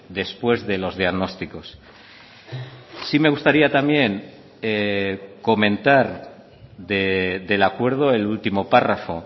después de los diagnósticos sí me gustaría también comentar del acuerdo el último párrafo